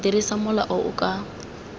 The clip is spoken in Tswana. dirisa mola o o ka